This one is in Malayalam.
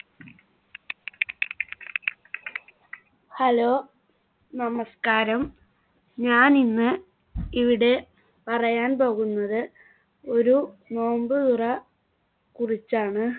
hello നമസ്ക്കാരം ഞാൻ ഇന്ന് ഇവിടെ പറയാൻ പോകുന്നത് ഒരു നോമ്പ് തുറ കുറിച്ചാണ്.